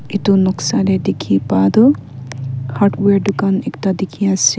etu noksa teh dikhi pa tu hardware dukan ekta dikhi ase.